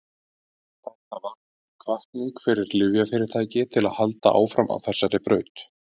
þetta varð því hvatning fyrir lyfjafyrirtæki til að halda áfram á þessari braut